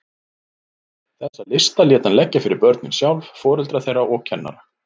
Þessa lista lét hann leggja fyrir börnin sjálf, foreldra þeirra og kennara.